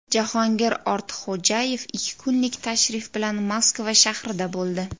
Jahongir Ortiqxo‘jayev ikki kunlik tashrif bilan Moskva shahrida bo‘ldi .